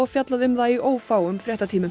fjallað um það í ófáum fréttatímum